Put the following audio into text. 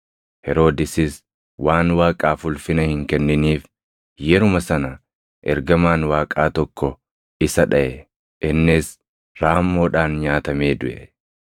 Heroodisis waan Waaqaaf ulfina hin kenniniif yeruma sana ergamaan Waaqaa tokko isa dhaʼe; innis raammoodhaan nyaatamee duʼe.